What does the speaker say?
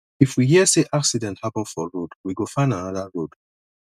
if we hear sey accident happen for road we go find anoda road